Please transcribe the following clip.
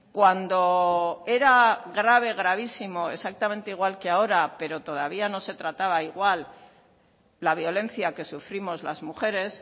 cuando era grave gravísimo exactamente igual que ahora pero todavía no se trataba igual la violencia que sufrimos las mujeres